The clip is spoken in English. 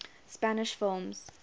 spanish films